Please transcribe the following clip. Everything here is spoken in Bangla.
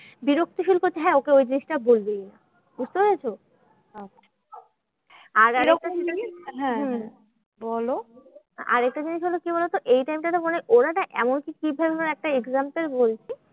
বিরক্তি feel করছে, হ্যাঁ ওকে এই জিনিসটা বলবেই না, বুঝতে পেরেছো? আরেকটা জিনিস হলো কি বলোতো? এই time টা তে মনে হয় ওরা না এমন কি কি ধরণের একটা example বলছি,